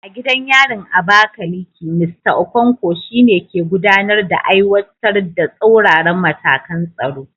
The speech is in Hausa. A gidan yarin Abakaleke, Mista Okonkwo, shi ne ke gudanar da aiwatar da tsauraran matakan tsaro